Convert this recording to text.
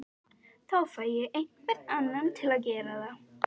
Þá fæ ég einhvern annan til að gera það